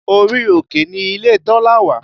Orí òkè ni ilé Tọ́lá wà